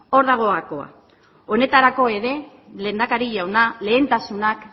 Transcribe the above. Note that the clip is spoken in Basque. hor dago gakoa honetarako ere lehendakari jauna lehentasunak